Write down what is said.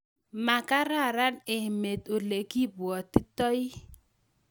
makararan emet olegagibwatitoi